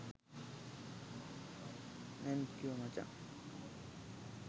thank you මචං